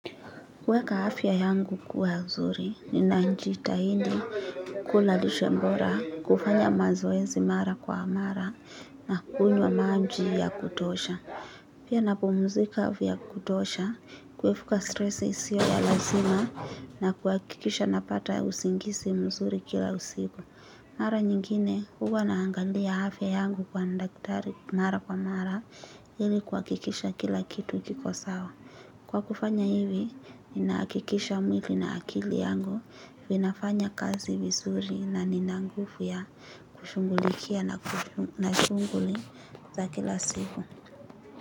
Kweka afya yangu kuwa mzuri, nina njitahindi kula lishe mbora, kufanya mazoezi mara kwa mara, na kunywa manji ya kutosha. Pia napumzika vya kutosha, kwefuka stressi sio ya lazima, na kuakikisha napata usingisi mzuri kila usiku. Mara nyingine, huwa naangalia hafya yangu kwa ndaktari mara kwa mara, ili kuwakikisha kila kitu kikosawa. Kwa kufanya hivi, ninaakikisha mwili na akili yangu, vinafanya kazi vizuri na nina ngufu ya kushungulikia na shunguli za kila siku.